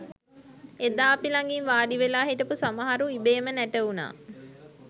එදා අපි ලගින් වාඩිවෙලා හිටපු සමහරු ඉබේම නැටවුනා